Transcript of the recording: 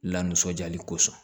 La nisɔndiyali kosɔn